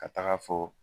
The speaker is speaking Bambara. Ka taga fo